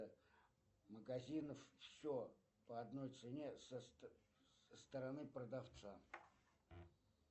магазин все по одной цене со стороны продавца